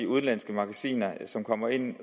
udenlandske magasiner som kommer ind i